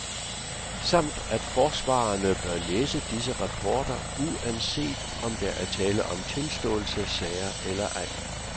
Samt at forsvarerne bør læse disse rapporter, uanset om der er tale om tilståelsessager eller ej.